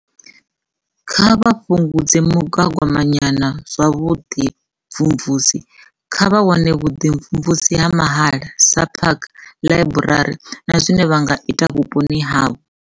Kha vha fhungudze muga ganyagwama wa zwa vhuḓi mvumvusi - kha vha wane vhuḓimvumvusi ha mahala, sa phakha, ḽaiburari na zwine vha nga ita vhuponi havho.